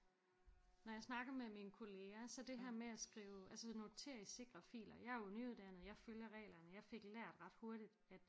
Når jeg snakker med mine kollegaer så det her med at skrive altså notere i sikre filer jeg er jo nyuddannet jeg følger reglerne jeg fik lært ret hurtigt at